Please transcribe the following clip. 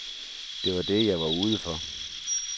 Det var det, jeg var ude for.